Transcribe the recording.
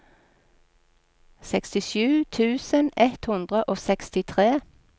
sekstisju tusen ett hundre og sekstitre